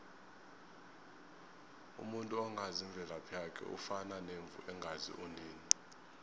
umuntu ongazi imvelaphi yakhe ufana nemvu engazi unina